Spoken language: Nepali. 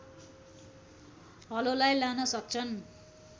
हलोलाई लान सक्छन्